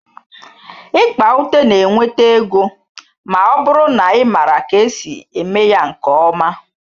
Ikpa ute na-enweta ego ma ọ bụrụ na ị maara ka esi eme ya nke ọma